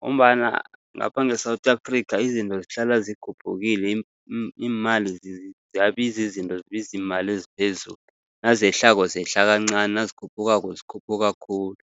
Ngombana ngapha nge-South Africa, izinto zihlala zikhuphukile, iimali ziyabiza izinto zibiza iimali eziphezulu, nazehlako zehla kancani, nazikhuphukako zikhuphuka khulu.